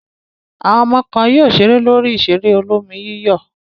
Àwọn ọmọ kan yóò ṣeré lórí ìṣeré olómi-yíyọ̀.